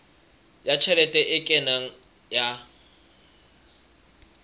ya tjhelete e kenang ya